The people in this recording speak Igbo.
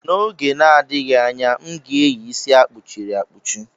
N'oge na-adịghị anya, m ga-eyi isi akpuchi ri akpuchi.